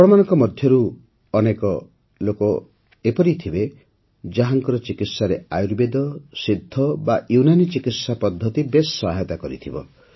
ଆପଣମାନଙ୍କ ମଧ୍ୟରୁ ଅନେକ ଲୋକ ଏପରି ଥିବେ ଯାହାଙ୍କର ଚିକିତ୍ସାରେ ଆୟୁର୍ବେଦ ସିଦ୍ଧ ବା ୟୁନାନି ଚିକିତ୍ସା ପଦ୍ଧତି ବେଶ୍ ସହାୟତା କରିଥିବ